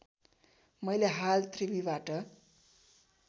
मैले हाल त्रिविबाट